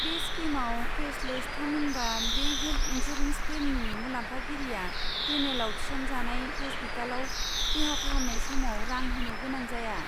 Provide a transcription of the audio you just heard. बे स्किमआ कैशलेस, थामहिनबा बे हेल्ट इनसुरेन्स प्लेननि मुलाम्फागिरिया पेनेलआव थिसनजानाय हस्पिटालआव देहा फाहामनाय समाव रां होनो गोनां जाया।